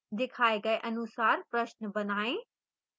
दिखाए गए अनुसार प्रश्न बनाएं